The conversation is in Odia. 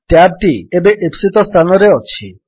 ଟ୍ୟାବ୍ ଟି ଏବେ ଇପ୍ସିତ ସ୍ଥାନରେ ଅଛି